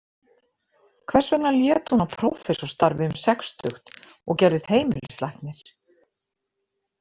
Hvers vegna lét hún af prófessorsstarfi um sextugt og gerðist heimilislæknir?